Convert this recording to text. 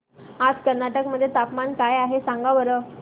आज कर्नाटक मध्ये तापमान काय आहे सांगा बरं